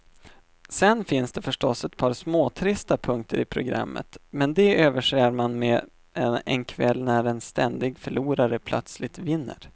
Sen finns det förstås ett par småtrista punkter i programmet, men de överser man med en kväll när en ständig förlorare plötsligt vinner.